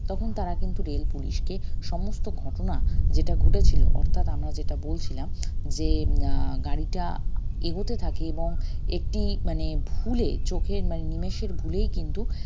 তখন তারা কিন্তু rail পুলিশকে সমস্ত ঘটনা যেটা ঘটেছিলো অর্থাৎ আমরা যেটা বলছিলাম যে উম আহ গাড়িটা এগোতে থাকে এবং একটি মানে ভুলে চোখের মানে নিমিষের ভুলেই কিন্তু